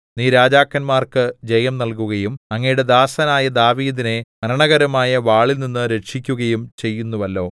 നീ രാജാക്കന്മാർക്കു ജയം നല്കുകയും അങ്ങയുടെ ദാസനായ ദാവീദിനെ മരണകരമായ വാളിൽനിന്ന് രക്ഷിക്കുകയും ചെയ്യുന്നുവല്ലോ